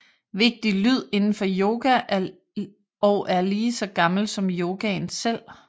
Vigtig lyd inden for yoga og er lige så gammel som yogaen selv